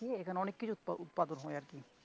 হম এখানে অনেক কিছু উৎপা~ উৎপাদন হয় আর কি.